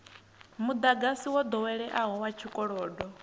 mudagasi wo doweleaho wa tshikolodo